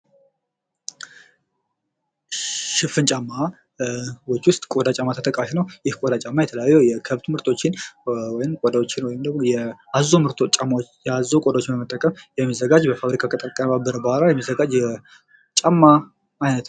ሽፍንጫማችሁ ውስጥ ቆዳ ጫማ ተጠቃሽ ነው ::ይህ ቆዳ ጫማ የተለያዩ የከብት ምህርቶችን ወይም ቆዳዎችን ወይም ደግሞ ያዓዞው ምርቶች ጫማዎችን ቆዳዎችን በመጠቀም የሚዘጋጅ በፋብሪካ የሚዘጋጅ የጫማ አይነት ነው ::